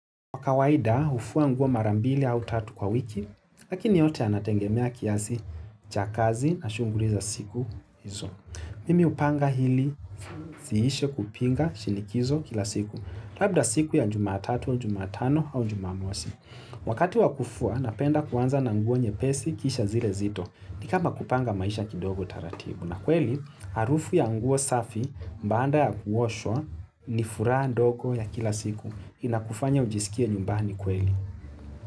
Kwa kawaida hufua nguo mara mbili au tatu kwa wiki, lakini yote yanategemea kiasi cha kazi na shughuli za siku hizo. Mimi hupanga hili ziishe kupinga shinikizo kila siku, labda siku ya jumatatu, jumatano au jumamosi. Wakati wa kufua napenda kuanza na nguo nyepesi kisha zile zito, ni kama kupanga maisha kidogo taratibu. Na kweli harufu ya nguo safi baada ya kuoshwa ni furaha ndogo ya kila siku inakufanya ujisikie nyumbani kweli.